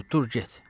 Dur, dur get.